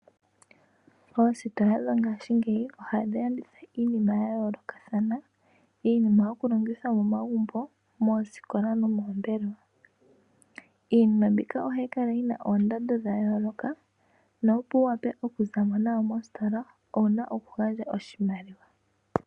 Oositola dhongaashingeyi ohadhi landitha iinima ya yoolokathana, iinima yokulongithwa momagumbo, moosikola nomoombelewa. Iinima mbika ohayi kala yi na oondando dha yooloka, na opo wuwape okuzamo nayo mositola, owuna okugandja oshimaliwa.